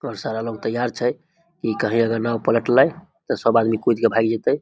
और सारा लोग तैयार छै इ कहीं अगर नाव पलटले ते सब आदमी कूद के भाग जे ते।